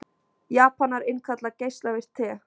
Japanar innkalla geislavirkt te